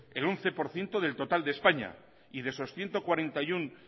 el once por ciento del total de españa y de esas ciento cuarenta y uno